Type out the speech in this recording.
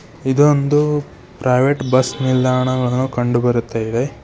ಇದು ಒಂದು private bus ನಿಲ್ದಾಣವನ್ನು ಕಂಡುಬರುತ್ತೇವೆ.